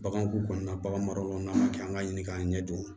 Baganko kɔnɔna kɛ an ka ɲini k'an ɲɛ don